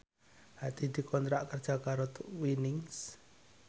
Hadi dikontrak kerja karo Twinings